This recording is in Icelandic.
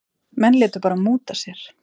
Menn létu bara múta sér.